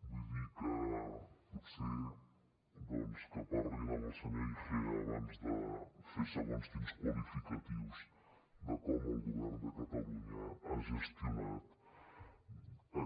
vull dir que potser doncs que parlin amb el senyor igea abans de fer segons quins qualificatius de com el govern de catalunya ha gestionat